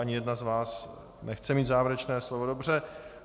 Ani jedna z vás nechce mít závěrečné slovo, dobře.